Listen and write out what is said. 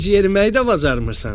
Sən heç yeriməyi də bacarmırsan.